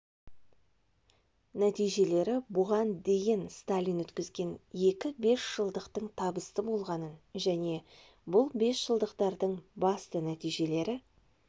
нәтижелері бұған дейін сталин өткізген екі бес жылдықтың табысты болғанын және бұл бесжылдықтардың басты нәтижелері